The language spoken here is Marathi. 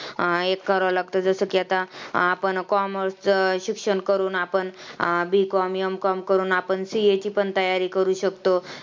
हा एक करावं लागतं जसं की आता आपण commerce शिक्षण करून आपण अं B. Com, M. Com करून आपण CA ची पण तयारी करू शकतो.